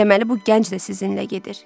Deməli bu gənc də sizinlə gedir.